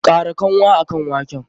Kara kanwa akan waken!